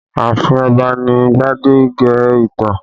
Ààfin Ọba ni gbadege ìtàn